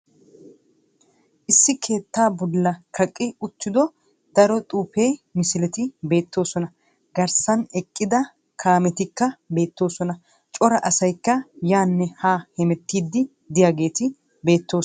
Issi keettaa bolla kaqqi uttiddo daro xuufe misileti beettoosona. Garssan eqqida kaamettikka beettoosona. Cora asaykka yaanne ha hemmettidi de'iyageeti de'oosona.